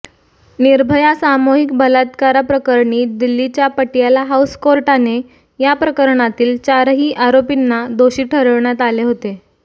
निर्भया सामूहिक बलात्कारप्रकरणी दिल्लीच्या पटियाला हाऊस कोर्टाने याप्रकरणातील चारही आरोपींनी दोषी ठरविण्यात आले होते